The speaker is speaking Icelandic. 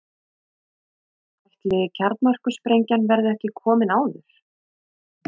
Ætli kjarnorkusprengjan verði ekki komin áður.